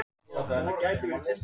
Það vantaði eitthvað.